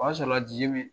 O y'a sɔrɔla la ji mi